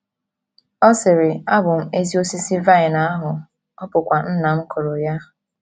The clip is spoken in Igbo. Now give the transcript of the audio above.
Ọ sịrị: “ Abụ m ezi osisi vine ahụ, ọ bụkwa Nna m kụrụ ya. ”